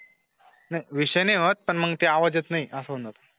नाही विषय होत पण मग ते आवडत नाही असं म्हणत.